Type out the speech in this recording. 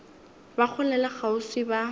ba kgole le kgauswi ba